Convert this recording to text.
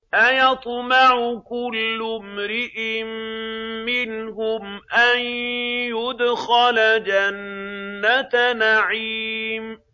أَيَطْمَعُ كُلُّ امْرِئٍ مِّنْهُمْ أَن يُدْخَلَ جَنَّةَ نَعِيمٍ